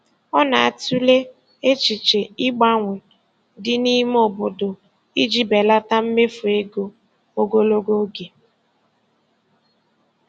Ọ na-atụle echiche ịgbanwe dị n'ime obodo iji belata mmefu ego ogologo oge.